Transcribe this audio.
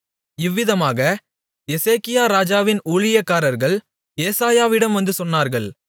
இவ்விதமாக எசேக்கியா ராஜாவின் ஊழியக்காரர்கள் ஏசாயாவிடம் வந்து சொன்னார்கள்